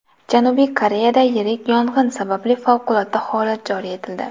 Janubiy Koreyada yirik yong‘in sababli favqulodda holat joriy etildi.